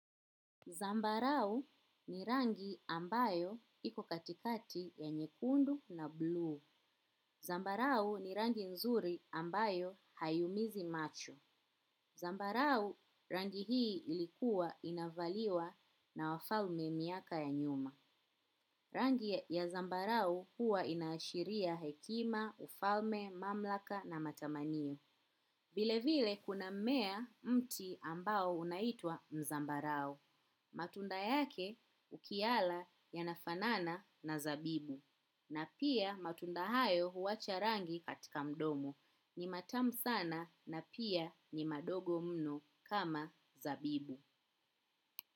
Zambarau ni rangi ambayo iko katikati ya nyekundu na blu. Zambarau ni rangi nzuri ambayo hayumizi macho. Zambarau rangi hii ilikuwa inavaliwa na wafalme miaka ya nyuma. Rangi ya zambarau huwa inaashiria hekima, ufalme, mamlaka na matamaniyo. Vile vile kuna mmea mti ambao unaitwa mzambarau. Matunda yake ukiyala yanafanana na zabibu na pia matunda hayo huwacha rangi katika mdomo ni matam sana na pia ni madogo mno kama zabibu.